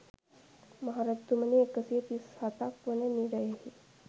මහ රජතුමනි, එක සිය තිස් හතක් වන නිරයෙහි